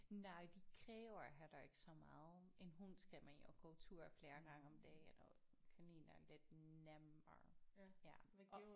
Nej de kræver heller ikke så meget en hund skal man jo gå tur flere gange om dagen og kaniner er lidt nemmere ja og